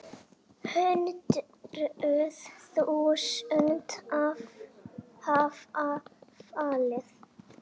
Hundruð þúsunda hafa fallið.